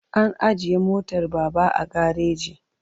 An ajiye motar Baba a gareji.